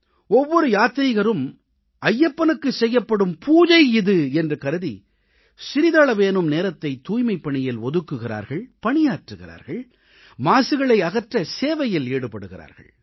ஒவ்வொரு யாத்ரீகரும் ஐயப்பனுக்கு செய்யப்படும் பூஜை இது என்று கருதி சிறிதளவேனும் நேரத்தைத் தூய்மைப்பணியில் ஒதுக்குகிறார்கள் பணியாற்றுகிறார்கள் மாசுகளை அகற்ற சேவையில் ஈடுபடுகிறார்கள்